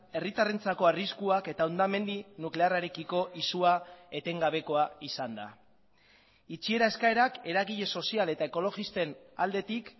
herritarrentzako arriskuak eta hondamendi nuklearrarekiko izua etengabekoa izan da itxiera eskaerak eragile sozial eta ekologisten aldetik